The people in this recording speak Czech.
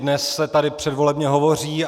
Dnes se tady předvolebně hovoří.